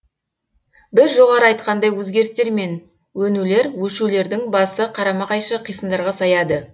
біз жоғары айтқандай өзгерістер мен өнулер өшулердің басы қарама қайшы қисындарға саяды